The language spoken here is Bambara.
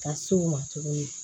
Ka se u ma tuguni